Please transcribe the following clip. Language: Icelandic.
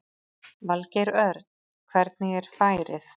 Valgeir Örn: Hvernig er færið?